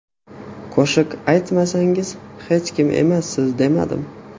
Qo‘shiq aytmasangiz, hech kim emassiz, demadim.